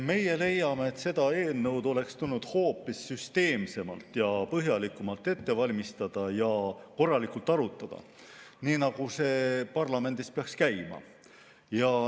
Meie leiame, et seda eelnõu oleks tulnud hoopis süsteemsemalt ja põhjalikumalt ette valmistada ning korralikult arutada, nii nagu see parlamendis peaks käima.